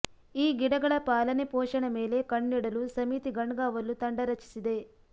ಈ ಗಿಡಗಳ ಪಾಲನೆ ಪೋಷಣೆ ಮೇಲೆ ಕಣ್ಣಿಡಲು ಸಮಿತಿ ಗಣ್ಗಾವಲು ತಂಡ ರಚಿಸಿದೆ